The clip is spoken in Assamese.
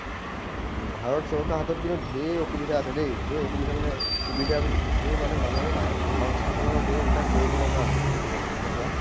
ভাৰত চৰকাৰৰ হাতত কিন্তু ঢেৰ অসুবিধা আছে দেই। ঢেৰ অসুবিধা মানে সুবিধা ঢেৰ মানে মানুহ সংস্থাপনৰ ঢেৰ এইবিলাক কৰিব লগা আছে। কব গলে, হয় নে কোৱা?